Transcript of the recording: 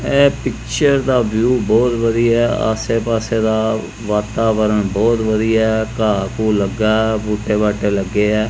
ਐ ਪਿੱਚਰ ਦਾ ਵਿਊ ਬਹੁਤ ਵਧੀਆ ਆਸੇ ਪਾਸੇ ਦਾ ਵਾਤਾਵਰਨ ਬਹੁਤ ਵਧੀਆ ਘਾਹ ਘੂ ਲੱਗਾ ਬੂਟੇ ਬਾਟੇ ਲੱਗੇ ਆ।